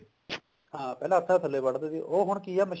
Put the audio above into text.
ਹਾਂ ਪਹਿਲਾਂ ਹੱਥ ਨਾਲ ਥੱਲੇ ਤੋਂ ਵਢਦੇ ਸੀ ਉਹ ਹੁਣ ਕੀ ਆ